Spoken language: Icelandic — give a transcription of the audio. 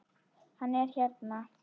Hann er hérna